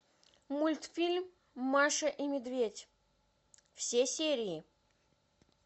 мультфильм маша и медведь все серии